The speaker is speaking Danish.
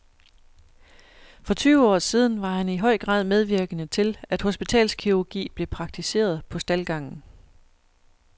For tyve år siden var han i høj grad medvirkende til, at hospitalskirurgi blev praktiseret på staldgangen.